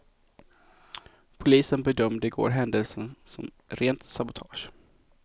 Polisen bedömde igår händelsen som rent sabotage.